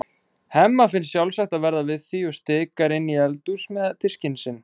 Hemma finnst sjálfsagt að verða við því og stikar inn í eldhús með diskinn sinn.